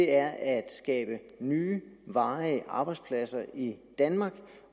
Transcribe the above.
er at skabe nye varige arbejdspladser i danmark